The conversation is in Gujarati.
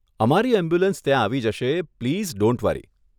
અમારી એમ્બ્યુલન્સ ત્યાં આવી જશે પ્લીઝ ડોન્ટ વરી.